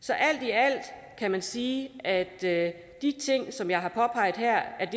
så alt i alt kan man sige at at de ting som jeg har påpeget her er det